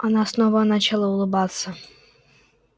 она снова начала улыбаться